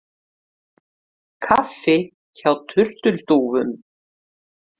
Kaffi hjá turtildúfum